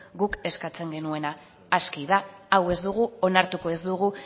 guk eskatzen genuena aski da hau ez dugu onartuko ez dugu